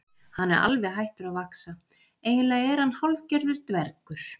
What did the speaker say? Hann er alveg hættur að vaxa, eiginlega er hann hálfgerður dvergur